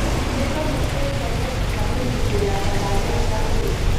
Nĩtwamũkĩrĩte mbeca cia kũnyitĩrĩra tabarĩra cia ũrĩmi